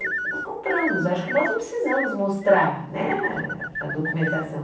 Nós compramos, acho que nós não precisamos mostrar né a a documentação.